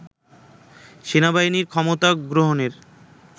সেনাবাহিনীর ক্ষমতা গ্রহণের